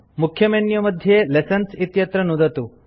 मुख्य मेन्यू मध्ये लेसन्स् इत्यत्र नुदतु